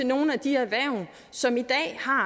nogle af de erhverv som i dag har